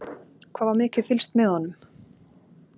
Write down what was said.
Hvað var mikið fylgst með honum?